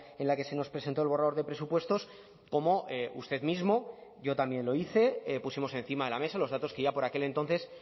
en la que se nos presentó el borrador de presupuestos como usted mismo yo también lo hice pusimos encima de la mesa los datos que ya por aquel entonces